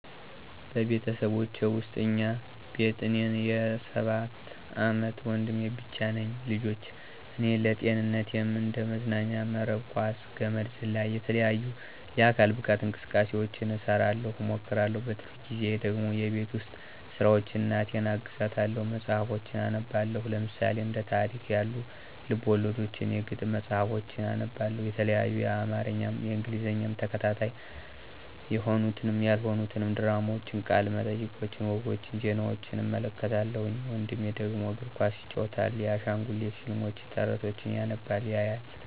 በቤተሰቦቼ ውስጥ እኛ ቤት እኔና የ ሰባት አመት ወንድሜ ብቻ ነን ልጆች ... እኔ ለጤንነትም እንደ መዝናኛም መረብ ኳስ፣ ገመድ ዝላይ፣ የተለያዩ የአካል ብቃት እንቅስቃሴውችን እሰራለሁ እሞክራለሁ። በትርፍ ጊዜየ ደግሞ የቤት ውስጥ ስራውችን እናቴን አግዛታለሁኝ። መፅሀፎችን አነባለሁኝ ለምሳሌ፦ እንደ ታሪክ ያሉ፦ ልብወለዶችን፥ የግጥም መፅሀፎችን አነባለሁ የተለያዪ የአማርኛም የእንግሊዘኛም ተከታታይ የሆኑትንም ያልሆኑትንም ድራማውችን፦ ቃለ መጠየቆችን፦ ወጎች፦ ዜናውችን እመለከታለሁኝ። ወንድሜ ደግሞ፦ እግር ኳስ ይጫወታል። የአሻንጉሊት ፊልሞችን፣ ተረቶችን ያነባል ያያል።